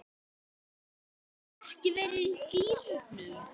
Hefurðu ekki verið í gírnum?